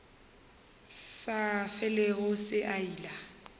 sa felego se a ila